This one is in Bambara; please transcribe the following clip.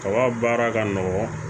Kaba baara ka nɔgɔn